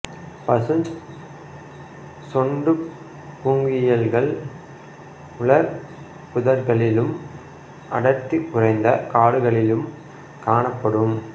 பசுஞ் சொண்டுப் பூங்குயில்கள் உலர் புதர்களிலும் அடர்த்தி குறைந்த காடுகளிலும் காணப்படும்